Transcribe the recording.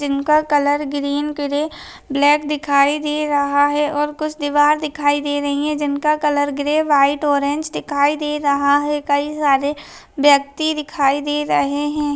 जिनका colour green grey black दिखाई दे रहा है और कुछ दिवार दिखाई दे रही है जिनका कलर ग्रे वाइट ऑरेंज दिखाई दे रहा है कई सारे व्यक्ति दिखाई दे रहे है।